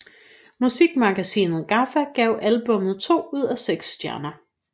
Musikmagasinet GAFFA gav albummet to ud af seks stjerner